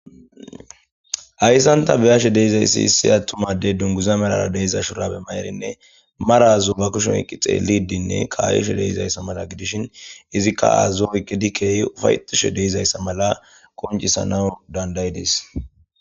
hayssanta beyashe deizayssi hissi attumadey dunguza melara deiza shurabe maerinne marazu ba kushon eqqi xeeli dinne kayushe deizayssa mala gidishin izikka aazazuoyke dikkey ufay tushe deizayssa mala koncisanawu dandayi dis